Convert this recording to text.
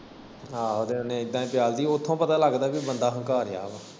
ਆਹੋ ਤੇ ਓਨੇ ਇਦਾ ਚੱਲਦੀ, ਉੱਥੋਂ ਪਤਾ ਲੱਗਦਾ ਬੰਦਾ ਹੰਕਾਰਿਆ ਵਾ।